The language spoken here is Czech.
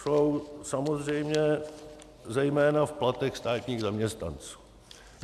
Jsou samozřejmě zejména v platech státních zaměstnanců.